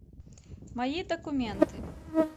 мои документы